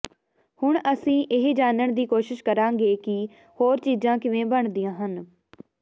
ਹੁਣ ਅਸੀਂ ਇਹ ਜਾਣਨ ਦੀ ਕੋਸ਼ਿਸ਼ ਕਰਾਂਗੇ ਕਿ ਹੋਰ ਚੀਜ਼ਾਂ ਕਿਵੇਂ ਬਣਦੀਆਂ ਹਨ